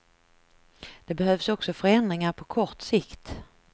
Det behövs också förändringar på kort sikt.